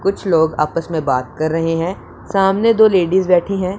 कुछ लोग आपस में बात कर रहे हैं सामने दो लेडिस बैठी है।